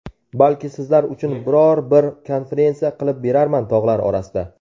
Balki sizlar uchun biror bir konferensiya qilib berarman tog‘lar orasida.